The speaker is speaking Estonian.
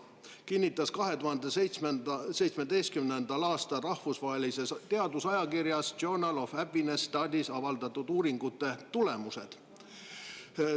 Seda kinnitasid 2017. aastal rahvusvahelises teadusajakirjas Journal of Happiness Studies avaldatud uuringute tulemused.